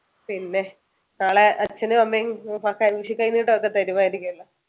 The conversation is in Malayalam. പിന്നെ നാളെ അച്ഛനും അമ്മയും ഒക്കെ വിഷുകൈനീട്ടമൊക്കെ താറുമായിരിക്കും അല്ലോ